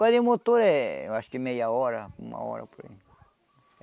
Agora em motor é, acho que meia hora, uma hora por aí.